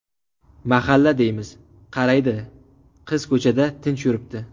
Mahalla deymiz, qaraydi qiz ko‘chada tinch yuribdi.